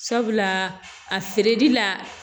Sabula a feereli la